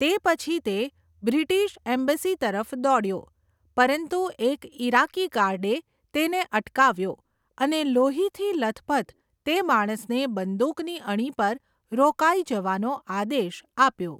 તે પછી તે બ્રિટિશ એમ્બસી તરફ દોડ્યો, પરંતુ એક ઇરાકી ગાર્ડે તેને અટકાવ્યો અને લોહીથી લથપથ તે માણસને બંદૂકની અણી પર રોકાઈ જવાનો આદેશ આપ્યો.